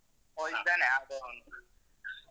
ಓ ಇದ್ದಾನೆ .